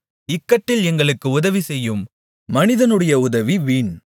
இக்கட்டில் எங்களுக்கு உதவிசெய்யும் மனிதனுடைய உதவி வீண்